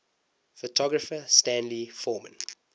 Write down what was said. photographer stanley forman